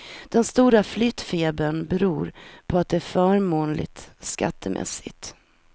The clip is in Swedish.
Den stora flyttfebern beror på att det är förmånligt skattemässigt.